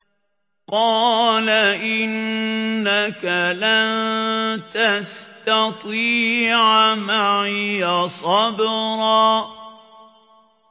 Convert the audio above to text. قَالَ إِنَّكَ لَن تَسْتَطِيعَ مَعِيَ صَبْرًا